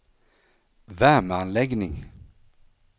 värmeanläggning